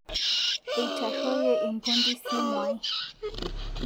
Eitaroyie lmpundi simuai